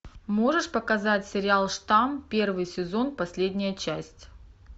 можешь показать сериал штамм первый сезон последняя часть